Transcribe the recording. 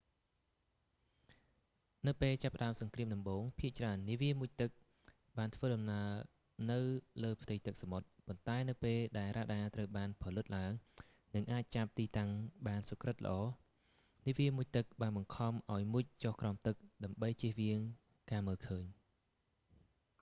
នៅពេលចាប់ផ្ដើមសង្គ្រាមដំបូង ភាគច្រើន នាវាមុជទឹកបានធ្វើដំណើរនៅលើផ្ទៃទឹកសមុទ្រ ប៉ុន្តែនៅពេលដែលរ៉ាដាត្រូវបានផលិតឡើង និងអាចចាប់ទីតាំងបានសុក្រឹតល្អ នាវាមុជទឹកបានបង្ខំឱ្យមុជចុះក្រោមទឹក ដើម្បីជៀសវាងការមើលឃើញ